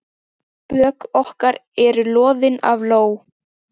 Bök okkar eru loðin af ló.